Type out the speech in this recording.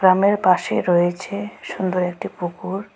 গ্রামের পাশে রয়েছে সুন্দর একটি পুকুর।